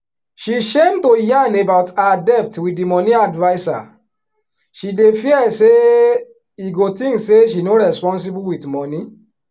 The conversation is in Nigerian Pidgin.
she shame to yarn about her debt with the money adviser she dey fear say e go think say she no responsible with money.